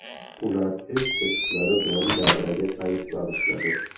Ular o‘z qo‘shiqlari bilan davraga fayz bag‘ishladi.